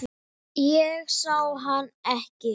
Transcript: Ég sá hann ekki.